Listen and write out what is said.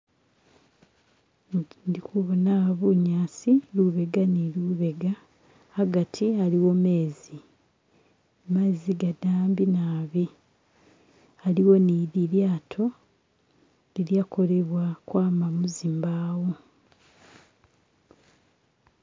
Ndi hubona aha bunyaasi lubega ni lubega agati aliwo mezi, mezi gadambi naabi aliwo ni lilyaato lilya kolewa ukwama muzimbaawo.